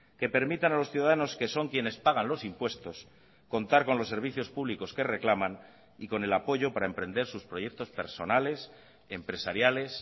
que permitan a los ciudadanos que son quienes pagan los impuestos contar con los servicios públicos que reclaman y con el apoyo para emprender sus proyectos personales empresariales